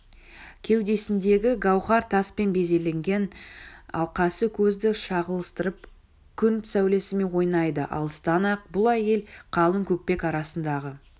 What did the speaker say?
кеудесіндегі гауһар таспен безелген алқасы көзді шағылыстырып күн сәулесімен ойнайды алыстан-ақ бұл әйел қалың көкпек арасындағы